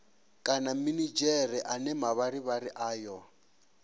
kana minidzhere ane mavharivhari ayo